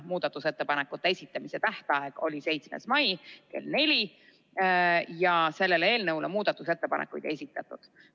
Muudatusettepanekute esitamise tähtaeg oli 7. mai kell 16, eelnõu kohta aga muudatusettepanekuid ei esitatud.